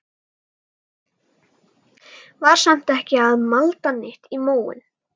Var samt ekki að malda neitt í móinn.